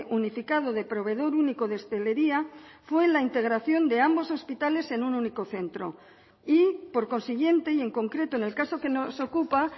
unificado de proveedor único de hostelería fue la integración de ambos hospitales en un único centro y por consiguiente y en concreto en el caso que nos ocupa